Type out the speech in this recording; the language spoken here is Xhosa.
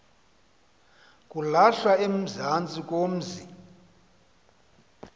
kulahlwa ezantsi komzi